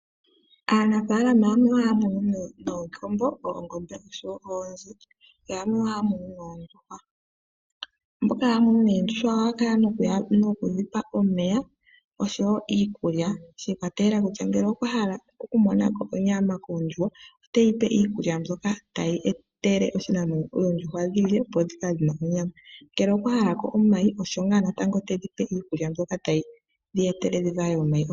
Aanafaalama oha ya munu iikombo, oongombe oshowo oonzi yamwe oha ya munu oondjuhwa. Mboka ha ya munu oondjuhwa oha ya kala no ku dhipa omeya shi I kwatelela kutya ngele okwahala oku iikombo, oongombe oshowo oonzi yamwe oha ya munu oondjuhwa. Mboka ha ya munu oondjuhwa oha ya kala no ku dhipa omeya noshowo iikulya, shi ikwatelela ngele okwahala oku monako onyama koondjuhwa ote yi iikulya mbyoka ta yi etele oondjuhwa dhilye opo dhi kale dhi na onyama, ngele okwahalako omayi osho ngaa natango tedhipe iikulya mbyoka ta yi dhi etele dhi vale omayi.